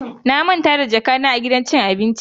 Na manta da jakata a gidan cin abincin.